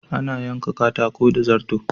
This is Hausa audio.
Ana yanka katako da zarto.